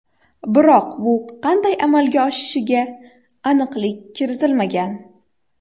Biroq bu qanday amalga oshishiga aniqlik kiritilmagan.